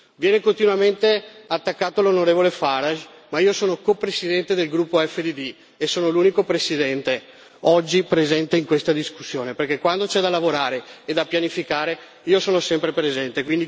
Viene continuamente attaccato l'onorevole Farage ma io sono copresidente del gruppo EFDD e sono l'unico presidente presente oggi in questa discussione, perché quando c'è da lavorare e da pianificare, io sono sempre presente.